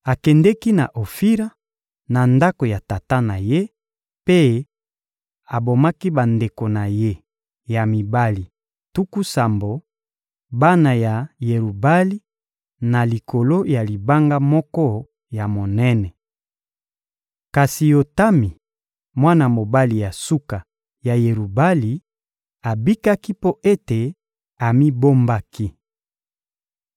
Akendeki na Ofira, na ndako ya tata na ye, mpe abomaki bandeko na ye ya mibali tuku sambo, bana ya Yerubali na likolo ya libanga moko ya monene. Kasi Yotami, mwana mobali ya suka ya Yerubali, abikaki mpo ete amibombaki.